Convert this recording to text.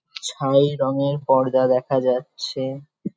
ছাই রঙের পর্দা দেখা যাচ্ছে।